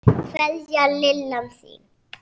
Kveðja, Lillan þín.